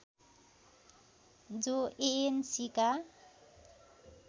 जो एएनसीका